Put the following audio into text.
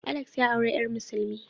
Alex ya aure yar musulmi.